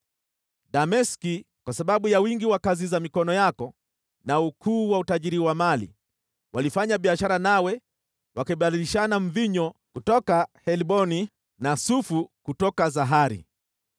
“ ‘Dameski, kwa sababu ya wingi wa kazi za mikono yako na ukuu wa utajiri wa mali, walifanya biashara nawe wakibadilishana mvinyo kutoka Helboni na sufu kutoka Zahari.